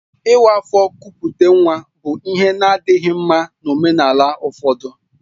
Ịwa afọ kupute nwa bụ ihe a na-adịghị mma na omenala ụfọdụ